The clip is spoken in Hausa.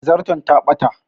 Zarton ta ɓata